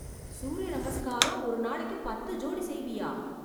சூரிய நமஸ்காரம் ஒரு நாளைக்கு பத்து ஜோடி செய்வியா?